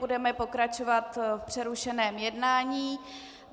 Budeme pokračovat v přerušeném jednání.